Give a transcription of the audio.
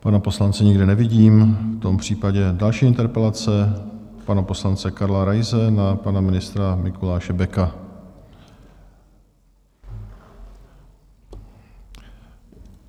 Pana poslance nikde nevidím, v tom případě další interpelace pana poslance Karla Raise na pana ministra Mikuláše Beka.